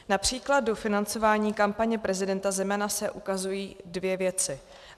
Například do financování kampaně prezidenta Zemana se ukazují dvě věci.